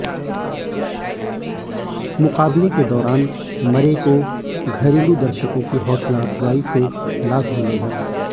मुकाबले के दौरान मरे को घरेलू दर्शकों की हौसलाफजाई से लाभ मिला